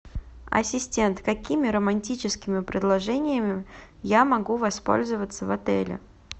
ассистент какими романтическими предложениями я могу воспользоваться в отеле